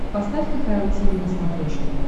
поставь кхл тиви на смотрешке